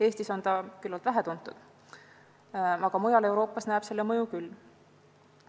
Eestis on see küllalt vähetuntud, aga mujal Euroopas näeb selle mõju küll.